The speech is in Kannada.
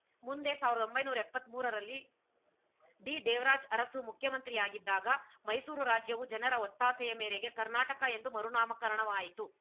ಮುಂದೆ ಸಾವಿರದ ಒಂಬೈನೂರ ಎಪ್ಪತ್ತ್ ಮೂರರಲ್ಲಿ ಡಿದೇವರಾಜ್‌ ಅರಸು ಮುಖ್ಯಮಂತ್ರಿಯಾಗಿದ್ದಾಗ ಮೈಸೂರು ರಾಜ್ಯವು ಜನರ ಒತ್ತಾಸೆಯ ಮೇರೆಗೆ ಕರ್ನಾಟಕ ಎಂದು ಮರುನಾಮಕರಣವಾಯಿತು